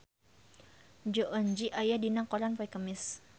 Jong Eun Ji aya dina koran poe Kemis